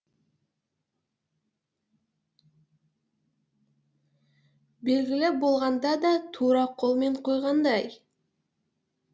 белгілі болғанда да тура қолмен қойғандай